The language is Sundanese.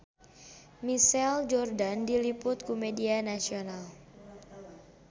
Michael Jordan diliput ku media nasional